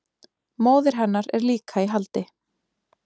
Móðir hennar er líka í haldi